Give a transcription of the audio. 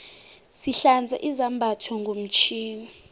sihlanza izambatho ngomtjhini